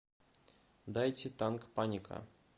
дайте танк паника